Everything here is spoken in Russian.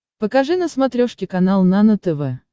покажи на смотрешке канал нано тв